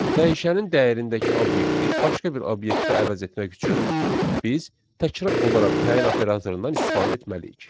Dəyişənin dəyərindəki obyekti başqa bir obyektə əvəz etmək üçün biz təkrar olaraq təyin operatorundan istifadə etməliyik.